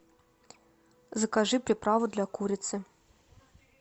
закажи приправу для курицы